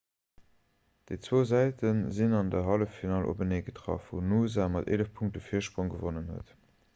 déi zwou säite sinn an der halleffinall openee getraff wou noosa mat 11 punkte virsprong gewonnen huet